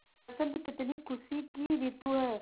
बसंत कितनी खुशी की रितु है